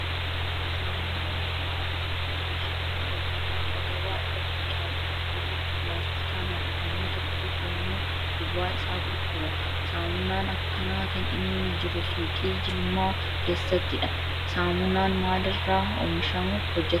Saamunaan manaa erga oomishamee bahee gaafa gabaa irratti dhiyaatu tokko tokko pilaastikaan haguugamee tokko tokko immoo duwwaa isaa gurguru. Saamunaan akkanaa kan inni jiru suuqii jimlaa keessattidha. Saamunaan maalirra hojjatama?